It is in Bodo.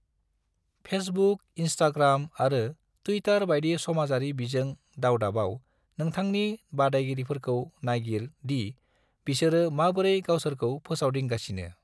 फेसबुक, इन्स्टाग्राम आरो टुइटार बायदि समाजारि बिजों दावदाबाव नोंथांनि बादायगिरिफोरखौ नायगिर दि बिसोरो माबोरै गावसोरखौ फोसावदिंगासिनो।